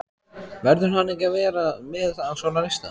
Verður hann ekki að vera með á svona lista?